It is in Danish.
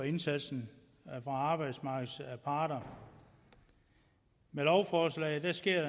indsatsen fra arbejdsmarkedets parter med lovforslaget sker